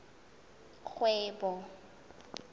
kgwebo